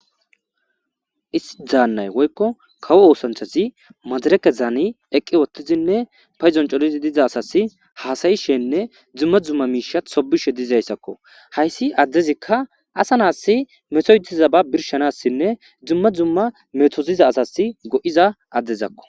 Isti daannay woykko kawo oosanthazi madareke zaani eqqi wottizinne payzon colizi diza asas haasayishenne dzumma dzumma miishat sobishe dizayssakko hayssi addezikka asa naassi mesoytiza ba birshanassinne dzumma dzumma metoziza asas go7iza addezakko